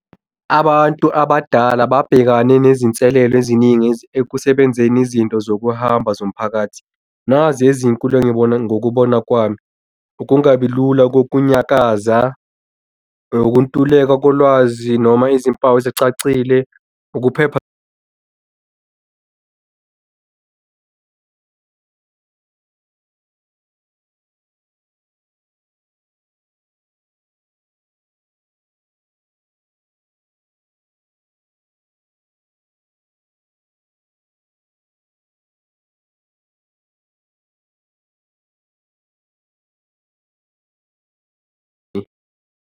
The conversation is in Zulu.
Abantu abadala babhekane nezinselelo eziningi ekusebenzeni izinto zokuhamba zomphakathi. Nazi ezinkulu engibona ngokubona kwami. Ukungabi lula kokunyakaza, ukuntuleka kolwazi noma izimpawu ezicacile. Ukuphepha .